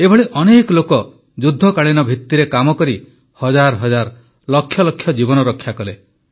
ଏଭଳି ଅନେକ ଲୋକ ଯୁଦ୍ଧକାଳୀନ ଭିତ୍ତିରେ କାମ କରି ହଜାର ହଜାର ଲକ୍ଷ ଲକ୍ଷ ଜୀବନ ରକ୍ଷା କଲେ